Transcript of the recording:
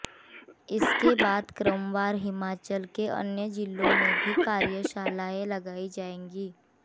इसके बाद क्रमवार हिमाचल के अन्य जिलों में भी कार्यशालाएं लगाई जाएंगी